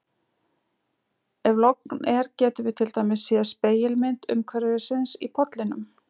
Ef logn er getum við til dæmis séð spegilmynd umhverfisins í pollinum.